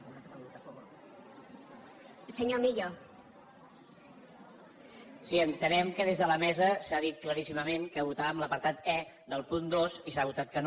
sí entenem que des de la mesa s’ha dit claríssimament que votàvem l’apartat e del punt dos i s’ha votat que no